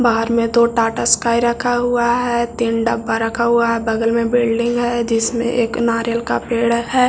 बाहर में दो टाटा स्काई रखा हुआ है तीन डब्बा रखा हुआ है बगल में बल्डिंग है जिसमे एक नारियल का पेड़ है।